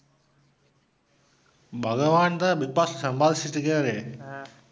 பகவான் தான் பிக் பாஸ்ல சம்பாதிச்சிட்டிருக்கிறாரே?